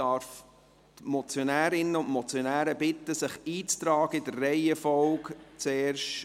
Ich darf die Motionärinnen und Motionäre bitten, sich in dieser Reihenfolge einzutragen: